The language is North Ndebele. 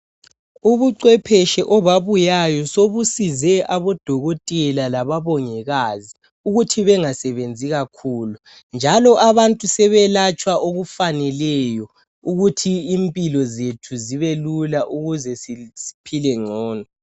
Ubucwepheshi obabuyayo sobusize abodokotela lababongikazi ukuthi bengasebenzi kakhulu njalo abantu sebeyelatshwa okufaneleyo ukuthi impilo zethu zibe lula ukuze siphile ngcono.